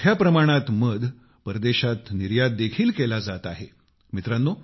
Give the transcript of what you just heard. यापैकी मोठ्या प्रमाणात मध परदेशात निर्यात देखील केला जात आहे